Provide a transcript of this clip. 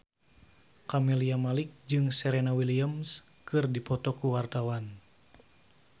Camelia Malik jeung Serena Williams keur dipoto ku wartawan